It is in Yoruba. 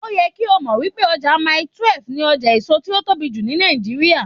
Ó yẹ kí o mọ̀ wípé ọjà Mailí 12 ni ọjà èso tó tóbi jù ní Nàìjíríà.